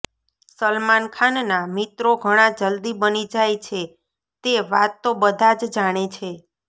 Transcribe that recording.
સલમાન ખાનના મિત્રો ઘણા જલ્દી બની જાય છે તે વાત તો બધા જ જાણે છે